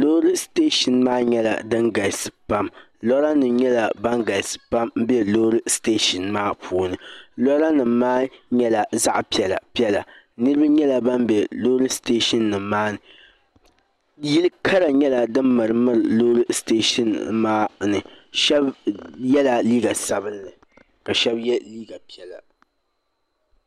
loori siteeshin maa nyɛla din galisi pam loorinima nyɛla ban galisi pam m-be loori siteeshin maa puuni loorinima maa nyɛla zaɣ' piɛlapiɛla niriba nyɛla ban be loori siteeshinnima maa ni yili karakara nyɛla din mirimiri loori siteeshin maa ni shɛba yɛla liiga sabila ka shɛba ye liiga piɛla